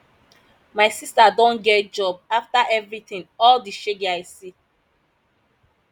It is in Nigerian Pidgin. my sister don get job after everything all the shege i see